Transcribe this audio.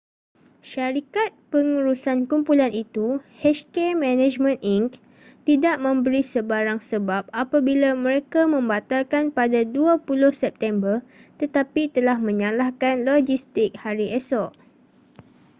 syarikat pengurusan kumpulan itu hk management inc tidak memberi sebarang sebab apabila mereka membatalkan pada 20 september tetapi telah menyalahkan logistik hari esok